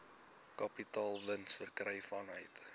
kapitaalwins verkry vanuit